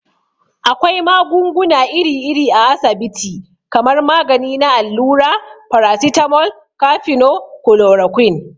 Akwai magunguna iri iri a asabiti kamar magani na allura, farasitamol, kafino, kulorakwin.